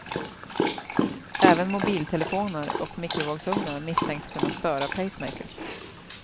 Även mobiltelefoner och mikrovågsungnar misstänks kunna störa pacemakers.